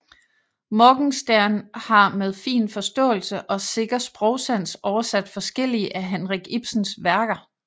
Morgenstern har med fin forståelse og sikker sprogsans oversat forskellige af Henrik Ibsens værker